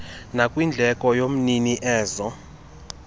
nakwindleko yomnini enze